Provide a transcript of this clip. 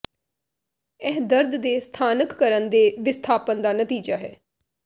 ਇਹ ਦਰਦ ਦੇ ਸਥਾਨਕਕਰਨ ਦੇ ਵਿਸਥਾਪਨ ਦਾ ਨਤੀਜਾ ਹੈ